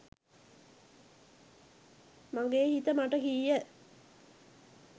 මගේ හිත මට කීය.